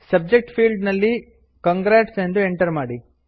subject field ನಲ್ಲಿ congrats ಎಂದು enter ಮಾಡಿ